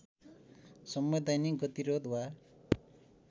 संवैधानिक गतिरोध वा